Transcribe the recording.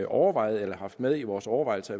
overvejet eller haft med i vores overvejelser